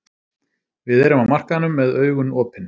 Við erum á markaðinum með augun opin.